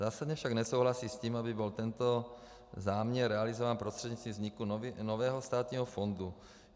Zásadně však nesouhlasí s tím, aby byl tento záměr realizován prostřednictvím vzniku nového státního fondu.